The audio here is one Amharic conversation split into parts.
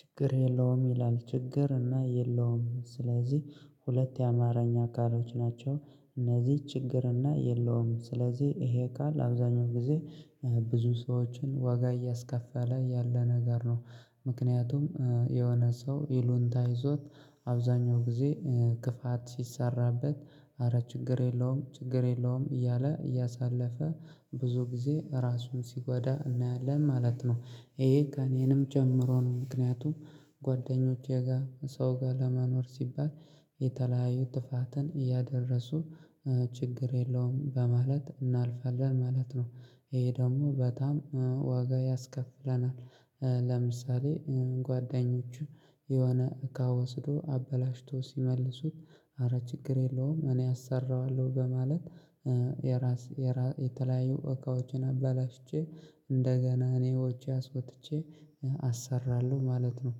ችግር የለውም ይላል። ችግር እና የለውም። ስለዚህ ሁለት የአማርኛ ቃሎች ናቸው። እነዚህ ችግር እና የለውም። ስለዚህ ይሄ ቃል አብዛኛውን ጊዜ ብዙ ሰዎችን ዋጋ እያስከፈለ ያለ ነገር ነው። ምክንያቱም የሆነ ሰው ይሉኝታ ይዞት አብዛኛውን ጊዜ ክፋት ሲሰራበት ኧረ ችግር የለውም ችግር የለውም እያለ እያሳለፈ ብዙ ጊዜ ራሱን ሲጎዳ እናያለን ማለት ነው። ይሄ ከእኔንም ጨምሮ ነው። ምክንያቱም ጓደኞቼ ጋር ሰው ጋር ለመኖር ሲባል የተለያየ ጥፋትን እያደረሱ ችግር የለውም በማለት እናልፋለን ማለት ነው። ይሄ ደግሞ በጣም ዋጋ ያስከፍለናል። ለምሳሌ ጓደኞቹ የሆነ እቃ ወስደው አበላሽተው ሲመልሱት ኧረ ችግር የለውም እኔ አሰራዋለሁ በማለት የራስ የተለያዩ እቃዎችን አበላሽቼ እንደገና እኔ ወጪ አስወጥቼ አሰራለሁ ማለት ነው።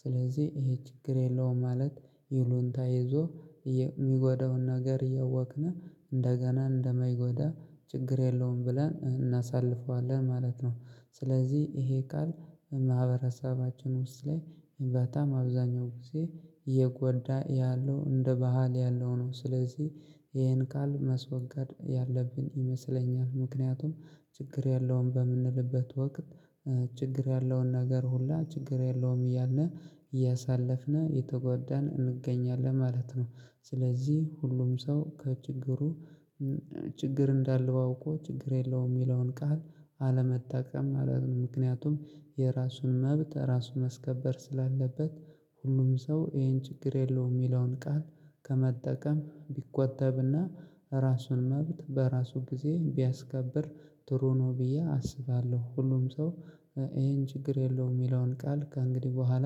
ስለዚህ ይሄ ችግር የለውም ማለት ይሉኝታ ይዞ የሚጎዳውን ነገር እያወቅነ እንደገና እንደመይጎዳ ችግር የለውም ብለን እናሳልፈዋለን ማለት ነው። ስለዚህ ይሄ ቃል በማህበረሰባችን ውስጥ ላይ በጣም አብዛኛው ጊዜ እየጎዳ ያለው እንደ ባህል ያለው ነው። ስለዚህ ይሄን ቃል ማስወገድ ያለብን ይመስለኛል። ምክንያቱም ችግር የለውም በምንልበት ወቅት ችግር ያለውን ነገር ሁላ ችግር የለውም እያለን ያሳለፍነ እየተጎዳን እንገኛለን ማለት ነው። ስለዚህ ሁሉም ሰው ከችግሩ ችግር እንዳለው አውቆ ችግር የለውም የሚለውን ቃል አለመጠቀም ማለት ነው። ምክንያቱም የራሱን መብት ራሱን ማስከበር ስላለበት ሁሉም ሰው ይሄን ችግር የለውም የሚለውን ቃል ከመጠቀም ቢቆጠብና የራሱን መብት በራሱ ጊዜ ቢያስከብር ጥሩ ነው ብዬ አስባለሁ። ሁሉም ሰው ይሄን ችግር የለውም የሚለውን ቃል ከእንግዲህ በኋላ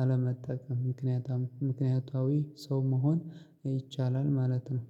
አለመጠቀም ምክንያታዊ ሰው መሆን ይቻላል ማለት ነው።